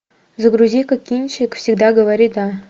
загрузи ка кинчик всегда говори да